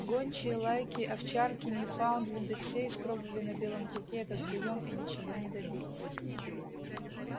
гончие лайки овчарки ньюфаундленды все испробовали на белом клыке этот приём и ничего не добились